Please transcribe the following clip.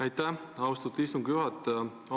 Aitäh, austatud istungi juhataja!